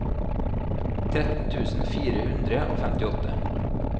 tretten tusen fire hundre og femtiåtte